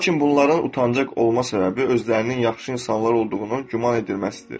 Lakin bunların utancaq olma səbəbi özlərinin yaxşı insanlar olduğunu güman edilməsidir.